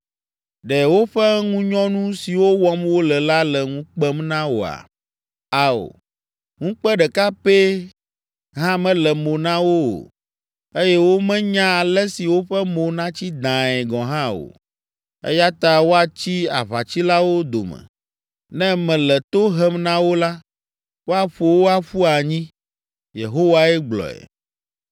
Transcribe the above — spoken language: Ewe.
Ɖe woƒe ŋunyɔnu siwo wɔm wole la le ŋu kpem na woa? Ao, ŋukpe ɖeka pɛ hã mele mo na wo o eye womenya ale si woƒe mo natsi dãae gɔ̃ hã o. Eya ta woatsi aʋatsilawo dome. Ne mele to hem na wo la, woaƒo wo aƒu anyi.” Yehowae gblɔe.